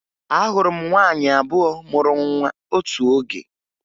Ahụrụ m nwaanyị abụọ mụrụ nwa otu oge